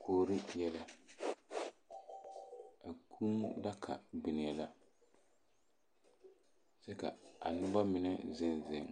Kuori yɛlɛ. a kũũ daka biŋee la kyɛ ka a noba mine zeŋ zeŋ.